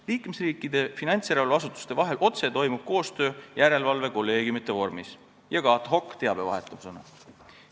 Liikmesriikide finantsjärelevalveasutuste vahel toimub koostöö järelevalvekolleegiumide vormis ja ka ad-hoc-teabevahetusena.